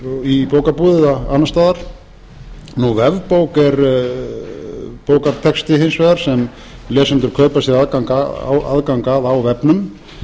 í bókabúðum eða annars staðar vefbók er bókartexti hins vegar sem lesendur kaupa sér aðgang að á vefnum